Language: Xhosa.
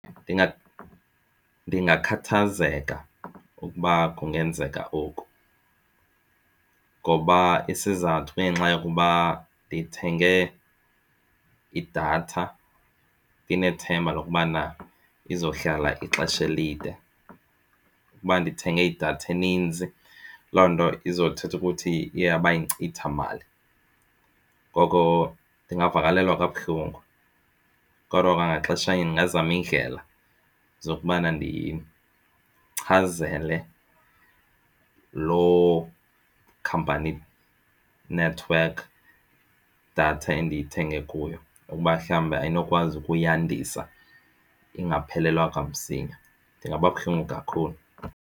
Ndingakhathazeka ukuba kungenzeka oku ngoba isizathu kungenxa yokuba ndithenge idatha ndinethemba lokubana izohlala ixesha elide. Ukuba ndithenge idatha eninzi loo nto izothetha ukuthi iye yaba yinkcitha mali. Ngoko ndingavakalelwa kabuhlungu kodwa kwangaxeshanye ndingazama iindlela zokubana ndichazele loo khampani inethiwekhi idatha endiyithenge kuyo ukuba mhlawumbi ayinokwazi ukuyandisa ingaphelelwa kwamsinya, ndingaba buhlungu kakhulu.